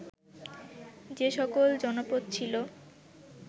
যে সকল জনপদ ছিল